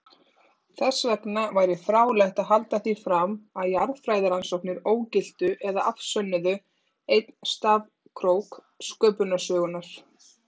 Þessvegna væri fráleitt að halda því fram að jarðfræðirannsóknir ógiltu eða afsönnuðu einn stafkrók sköpunarsögunnar.